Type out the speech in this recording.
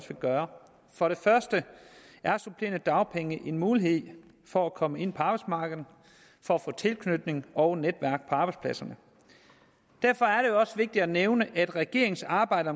gøre for det første er supplerende dagpenge en mulighed for at komme ind på arbejdsmarkedet for at få tilknytning og netværk på arbejdspladserne derfor er også vigtigt at nævne at regeringens arbejde